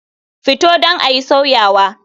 Fito don ayi sauyawa.